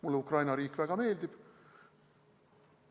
Mulle Ukraina riik väga meeldib.